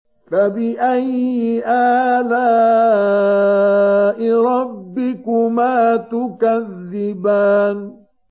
فَبِأَيِّ آلَاءِ رَبِّكُمَا تُكَذِّبَانِ